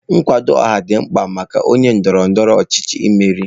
Nkwado ọha dị mkpa maka onye ndọrọ ndọrọ ọchịchị imeri.